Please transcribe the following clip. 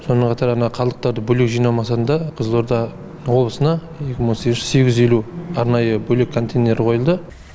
сонымен қатар ана қалдықтарды бөлек жинау мақсатында қызылорда облысына екі мың он сегізінші жылы сегіз жүз елу арнайы бөлек контейнер қойылды